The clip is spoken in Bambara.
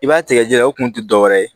I b'a tigɛ jiri o kun tɛ dɔ wɛrɛ ye